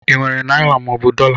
I nwere naịra mọobụ dọla?